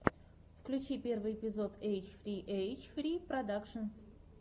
включи первый эпизод эйч фри эйч фри продакшенс